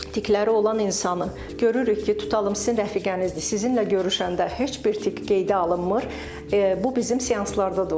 Tiklərə olan insanı görürük ki, tutalım sizin rəfiqənizdir, sizinlə görüşəndə heç bir tik qeydə alınmır.